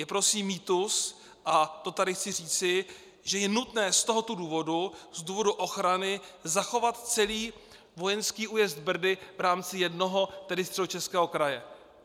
Je prosím mýtus, a to tady chci říci, že je nutné z tohoto důvodu, z důvodu ochrany, zachovat celý vojenský újezd Brdy v rámci jednoho, tedy Středočeského, kraje.